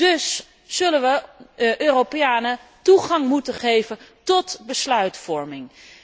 Dus zullen we de Europeanen toegang moeten geven tot besluitvorming.